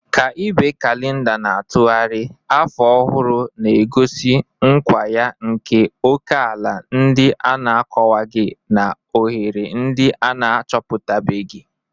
Ka ibe kalenda na-atụgharị, afọ ọhụrụ na-egosi nkwa ya nke ókèala ndị a na-akọwaghị na ohere ndị a na-achọpụtabeghị